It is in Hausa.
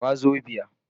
Wazobia